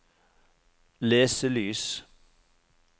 leselys